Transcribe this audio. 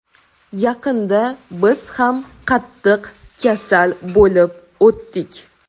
Yaqinda biz ham qattiq kasal bo‘lib o‘tdik.